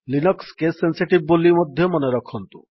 Linux case sensitive ବୋଲି ମଧ୍ୟ ମନେରଖନ୍ତୁ